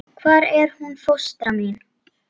Hvar er hún fóstra mín?